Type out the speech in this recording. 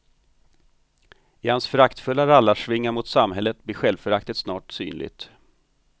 I hans föraktfulla rallarsvingar mot samhället blir självföraktet snart synligt.